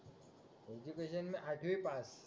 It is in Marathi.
मि त्याच्याहुन ना आठवी पास